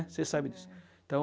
Você sabe disso. Então